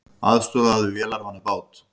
Aðstoðuðu vélarvana bát